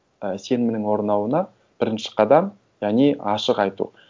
і сенімнің орнауына бірінші қадам яғни ашық айту